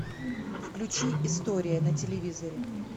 включи история на телевизоре